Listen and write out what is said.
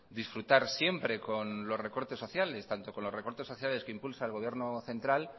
disfrutar siempre con los recortes sociales tanto con los recortes sociales que impulsa el gobierno central